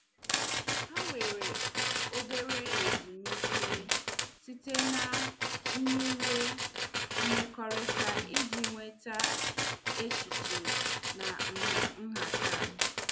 Ha were obere ezumike site na nyiwe mmekọrịta iji nweta echiche na nha nhata.